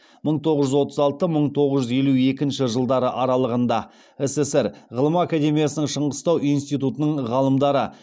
мың тоғыз жүз отыз алты мың тоғыз жүз елу екінші жылдары аралығында ссср ғылым академиясының шығыстану институтының ғалымдары